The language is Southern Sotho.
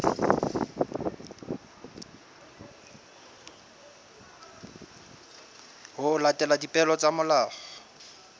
ho latela dipehelo tsa molao